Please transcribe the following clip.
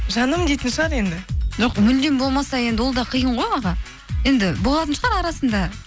жаным дейтін шығар енді жоқ мүлдем болмаса енді ол да қиын ғой аға енді болатын шығар арасында